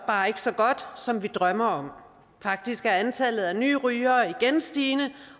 bare ikke så godt som vi drømmer om faktisk er antallet af nye rygere igen stigende